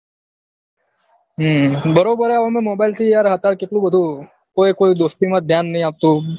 હમ બરોબર હે યાર mobile થી અતાર કેટલું બધું કોઈ કોઈ દોસ્તી માં ધ્યાન નહી આપતું